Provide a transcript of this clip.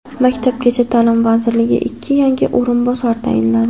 Maktabgacha ta’lim vaziriga ikki yangi o‘rinbosar tayinlandi.